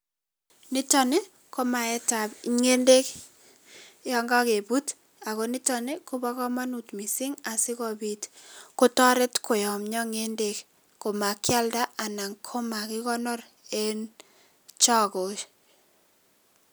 Nitok ko maaetab ngendek yon kakebut ako nitok kobo kamanut mising asikopit kotoret koyamia ngendek komakialda anan komakikonor eng chokesiek.